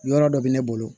Yɔrɔ dɔ bɛ ne bolo